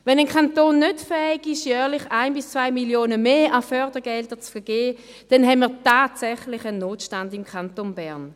Wenn ein Kanton nicht fähig ist, jährlich 1 bis 2 Mio. Franken mehr an Fördergeldern zu vergeben, dann haben wir tatsächlich einen Notstand im Kanton Bern.